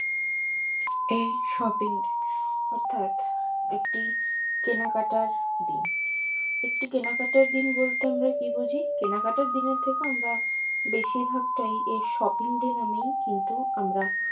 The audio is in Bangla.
এই shopping অর্থাৎ একটি কেনাকাটার দিন একটি কেনাকাটার দিন বলতে আমরা কি বুঝি কেনাকাটার দিনের থেকেও আমরা বেশির ভাগটাই এই shopping day মানে কিন্তু আমরা